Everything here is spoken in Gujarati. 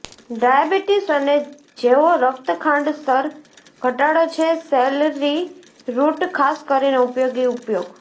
ડાયાબિટીસ અને જેઓ રક્ત ખાંડ સ્તર ઘટાડો છે સેલરિ રુટ ખાસ કરીને ઉપયોગી ઉપયોગ